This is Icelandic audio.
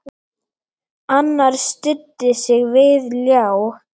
Annar studdi sig við ljá.